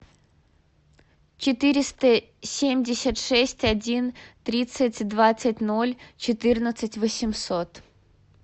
четыреста семьдесят шесть один тридцать двадцать ноль четырнадцать восемьсот